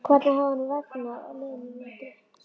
Hvernig hafði honum vegnað á liðnum vetri?